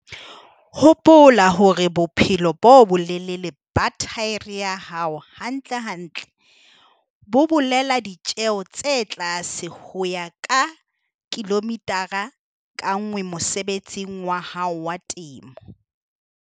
Hopola hore bophelo bo bolelele ba thaere ya hao hantlentle bo bolela ditjeo tse tlase ho ya ka kilomithara ka nngwe mosebetsing wa hao wa temo.